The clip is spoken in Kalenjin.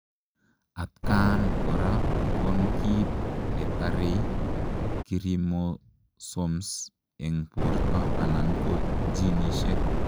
Atkaan koraa konkiit netarei kiromosoms eng portoo anan ko ginisiek